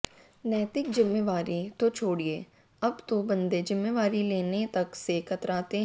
नैतिक जिम्मेवारी तो छोडि़ए अब तो बंदे जिम्मेवारी लेने तक से कतराते हैं